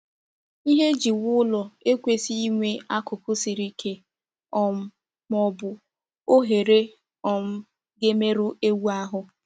Ihe eji wuo ụlọ ekwesịghị inwe akụkụ siri ike um ma ọ bụ oghere um ga-emerụ ewu ahụ.